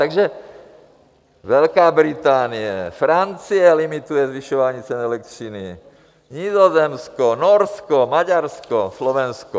Takže Velká Británie, Francie, limitují zvyšování cen elektřiny, Nizozemsko, Norsko, Maďarsko, Slovensko.